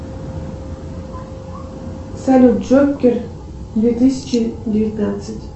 салют джокер две тысячи девятнадцать